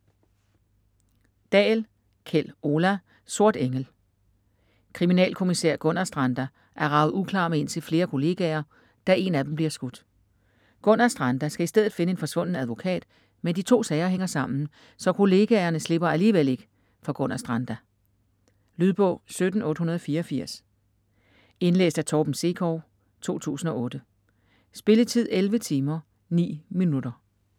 Dahl, Kjell Ola: Sort engel Kriminalkommissær Gunnarstranda er raget uklar med indtil flere kollegaer, da én af dem bliver skudt. Gunnarstranda skal i stedet finde en forsvunden advokat, men de to sager hænger sammen, så kollegaerne slipper alligevel ikke for Gunnarstranda. Lydbog 17884 Indlæst af Torben Sekov, 2008. Spilletid: 11 timer, 9 minutter.